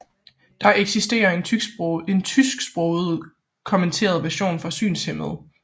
Der eksisterer en tysksproget kommenteret version for synshæmmede